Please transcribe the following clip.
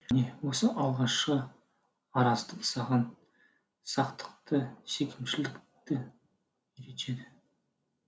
міне осы алғашқы араздық саған сақтықты секемшілдікті үйретеді